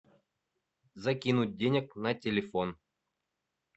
закинуть денег на телефон